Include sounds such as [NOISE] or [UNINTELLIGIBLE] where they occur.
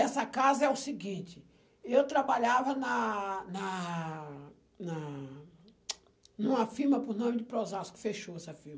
Essa casa é o seguinte, eu trabalhava na na na [UNINTELLIGIBLE] numa firma por nome de Prozasco, fechou essa firma.